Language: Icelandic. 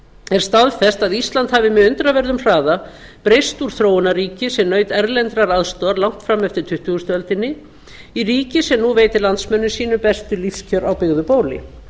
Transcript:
er staðfest að ísland hafi með undraverðum hraða breyst úr þróunarríki sem naut erlendrar aðstoðar langt fram eftir tuttugustu öldinni í ríki sem nú veitir landsmönnum sínum bestu lífskjör á byggðu bóli